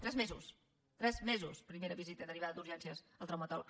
tres mesos tres mesos primera visita derivada d’urgències al traumatòleg